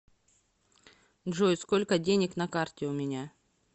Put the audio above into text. джой сколько денег на карте у меня